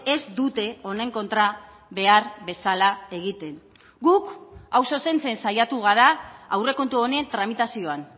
ez dute honen kontra behar bezala egiten guk hau zuzentzen saiatu gara aurrekontu honen tramitazioan